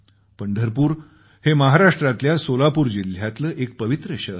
पंढरपूर हे महाराष्ट्रातल्या सोलापूर जिल्ह्यातलं एक पवित्र शहर आहे